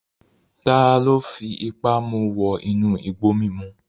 Taló fipá mu wọ inú igbó mímu?